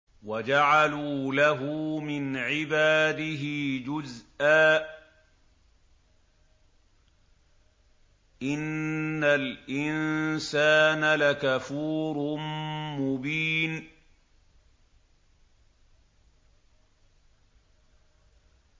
وَجَعَلُوا لَهُ مِنْ عِبَادِهِ جُزْءًا ۚ إِنَّ الْإِنسَانَ لَكَفُورٌ مُّبِينٌ